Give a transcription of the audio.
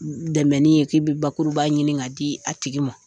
Dɛmɛni ye k'i bɛ bakuruba ɲini ka di a tigi ma